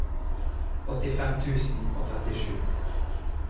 åttifem tusen og trettisju